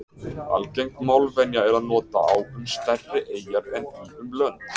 Algeng málvenja er að nota á um stærri eyjar en í um lönd.